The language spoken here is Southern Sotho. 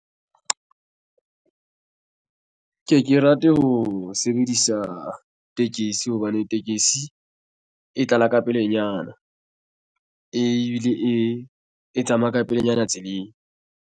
Ke ke rate ho sebedisa tekesi hobane tekesi e tlala ka pelenyana ebile e tsamaya ka pelenyana tseleng.